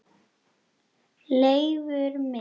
Leifur minn.